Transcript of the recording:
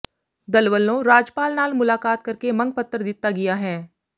ਦਲ ਵੱਲੋਂ ਰਾਜਪਾਲ ਨਾਲ ਮੁਲਾਕਾਤ ਕਰਕੇ ਮੰਗ ਪੱਤਰ ਦਿੱਤਾ ਗਿਆ ਹੈ